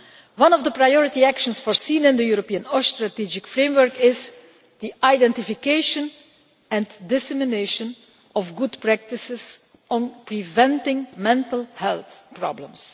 One of the priority actions foreseen in the European OSH Strategic Framework is the identification and dissemination of good practice on preventing mental health problems.